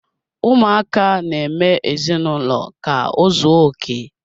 Ụmụaka na-eme ezinụlọ ka ozuoke.